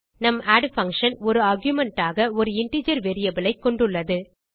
நம் add function ஒரு argument ஆக ஒரு இன்டிஜர் வேரியபிள் ஐ கொண்டுள்ளது